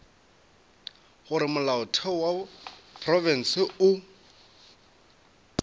gore molaotheo wa profense o